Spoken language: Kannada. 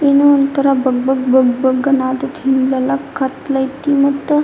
ಏನೋ ಒಂತರ ಬಗ್ ಬಗ್ ಬಗ್ ಅನ್ತತತ್ತಿ ಹಿಂದೆಲ್ಲಾ ಕತ್ಲ್ ಆಯ್ತಿ ಮತ್ತ--